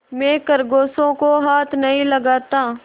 मैं खरगोशों को हाथ नहीं लगाता